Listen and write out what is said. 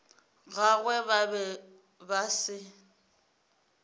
gagwe ba be ba se